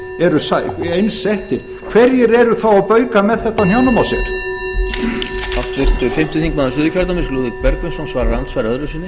eru eins settir hverjir eru þá að bauka með þetta á hnjánum á sér